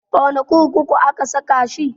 A wane kurkuku aka saka shi?